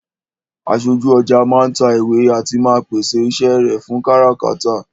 Aṣojú ọjà máa ń ta ìwé àti máa ń pèsè iṣẹ́ rẹ fún káràkátà